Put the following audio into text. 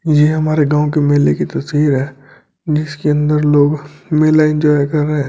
ये हमारे गांव के मेले की तस्वीर है जिसके अंदर लोग मेला एंजॉय कर रहे हैं।